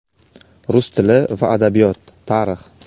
Rus tili va adabiyot, Tarix.